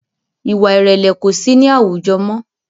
Ìwà ìrẹ̀lẹ̀ kosi ni awujọ mọ́